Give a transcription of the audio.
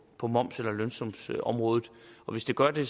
på moms eller lønsumsområdet og hvis det gør det